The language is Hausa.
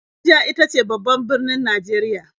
Abuja ita ce babban birnin Najeriya.